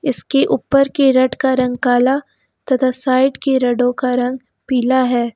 इसकी ऊपर की रेड का रंग काला तथा साइड की रेडों का रंग पीला है।